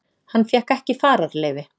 Hann fékk ekki fararleyfi